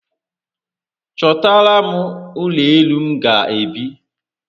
Chotara m ulo elu m ga-ebi